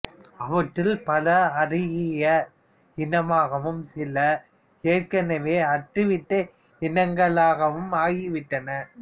அவற்றுள் பல அருகிய இனமாகவும் சில ஏற்கெனவே அற்றுவிட்ட இனங்களாகவும் ஆகிவிட்டன